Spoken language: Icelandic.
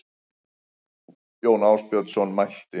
Jón Ásbjarnarson mælti